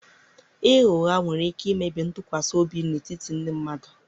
ịgha ụgha nwere ike imebi ntụkwasị obi n'etiti ndị mmadụ